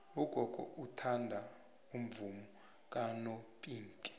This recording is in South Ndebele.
ugogo uthanda umvumo kanopinki